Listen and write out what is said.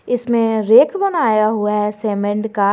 इसमें रेख बनाया हुआ है सेमेंड का--